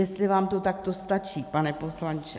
Jestli vám to takto stačí, pane poslanče?